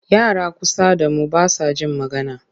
Yara kusa da mu ba sa jin magana.